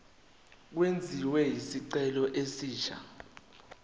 kwenziwe isicelo esisha